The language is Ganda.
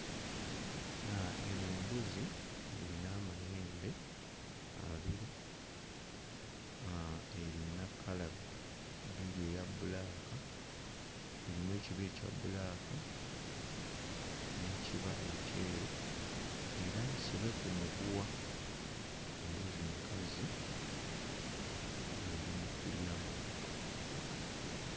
Aah eno mbuzi erina amayembe abiri erina kkala bbiri eya bbulaaka erimu ekiba ekya bbulaaka n'ekiba ekyeru era nsibe ku muguwa embuzi nkazi eri mu kulya muddo.